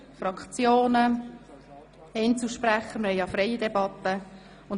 Es können sich Fraktions- und Einzelsprecher äussern, weil wir eine freie Debatte führen.